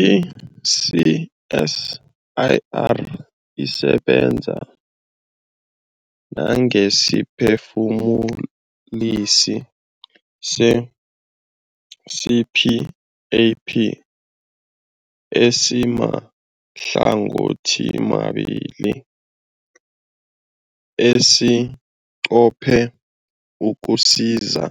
I-CSIR isebenza nangesiphefumulisi se-CPAP esimahlangothimabili esinqophe ukusiza